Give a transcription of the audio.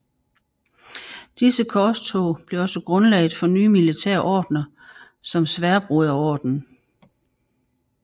Disse korstog blev også grundlaget for nye militære ordener som Sværdbroderordenen